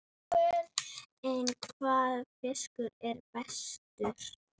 En hvaða fiskur er bestur?